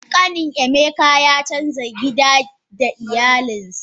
Kanin emeka ya canza gida da iyalinsa.